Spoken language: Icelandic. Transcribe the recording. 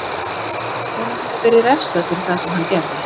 Honum hefur verið refsað fyrir það sem hann gerði